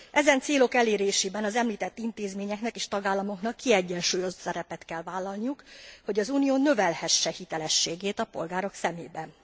Ezen célok elérésében az említett intézményeknek és tagállamoknak kiegyensúlyozó szerepet kell vállalniuk, hogy az Unió növelhesse hitelességét a polgárok szemében.